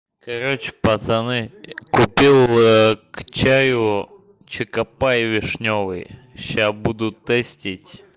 короче пацаны купил к чаю чокопай вишнёвый сейчас буду тестировать